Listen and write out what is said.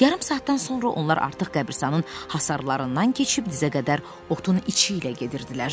Yarım saatdan sonra onlar artıq qəbiristanın hasarlarından keçib dizə qədər otun içi ilə gedirdilər.